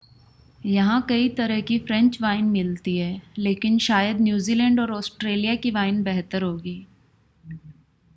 यहां कई तरह की फ़्रेंच वाइन मिलती हैं लेकिन शायद न्यूज़ीलैंड और ऑस्ट्रेलिया की वाइन बेहतर होगी